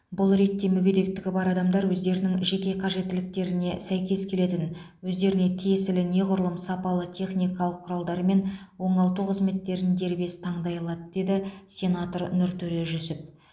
бұл ретте мүгедектігі бар адамдар өздерінің жеке қажеттіліктетіне сәйкес келетін өздеріне тиесілі неғұрлым сапалы техникалық құралдар мен оңалту қызметтерін дербес таңдай алады деді сенатор нұртөре жүсіп